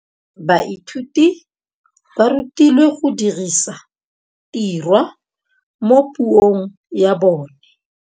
Baithuti ba rutilwe go dirisa tirwa mo puong ya bone.